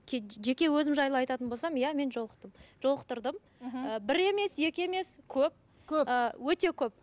жеке өзім жайлы айтатын болсам иә мен жолықтым жолықтырдым мхм ы бір емес екі емес көп көп ыыы өте көп